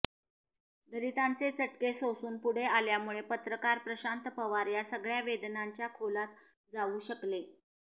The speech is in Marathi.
दलितांचे चटके सोसून पुढे आल्यामुळे पत्रकार प्रशांत पवार या सगळ्या वेदनांच्या खोलात जाऊ शकले